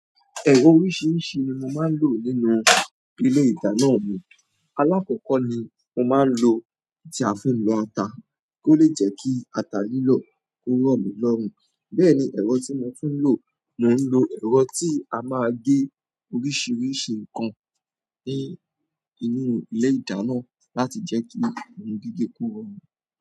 Oríṣiríṣi ni mo máa ń lò nínú ilé ìdáná mi. Alakoko ni mo maa n lo, oun ti a fi n lo ata, kole je ki ata lilo ki o romi lorun. Bẹ́ẹ̀ ni, ẹ̀rọ tí mo tún ń lò, mo ń lò ẹ̀rọ tí a máa gé oríṣiríṣi nǹkan ní inú ilé ìdáná láti jẹ́ kí ohun gígé kó rọ̀run.